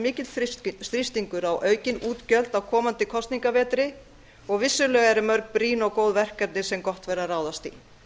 mikill þrýstingur á aukin útgjöld á komandi kosningavetri og vissulega eru mörg brýn og góð verkefni sem gott væri að ráðast í